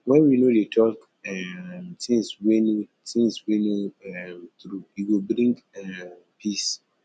wen we no dey talk um things wey no things wey no um true e go bring um peace